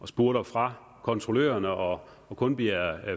spurter fra kontrollørerne og og kun bliver